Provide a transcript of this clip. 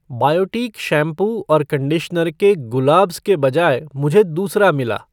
Biotique shampoo और conditioner के ग़ुलाब्ज़ के बजाय मुझे दूसरा मिला।